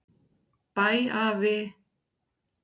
Bæ afi.